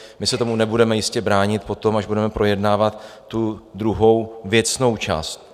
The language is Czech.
My se tomu nebudeme jistě bránit potom, až budeme projednávat tu druhou věcnou část.